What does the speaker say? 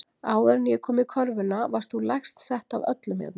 Áður en ég kom í körfuna varst þú lægst sett af öllum hérna.